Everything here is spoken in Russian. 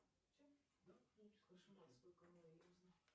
салют в каких источниках описывается логос